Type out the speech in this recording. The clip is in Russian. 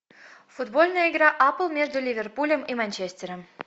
футбольная игра апл между ливерпулем и манчестером